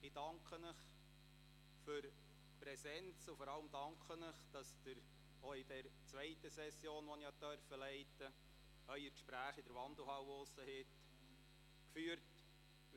Ich danke Ihnen für die Präsenz und vor allem danke ich Ihnen, dass Sie auch in der zweiten Session, die ich leiten durfte, Ihre Gespräche in der Wandelhalle draussen geführt haben.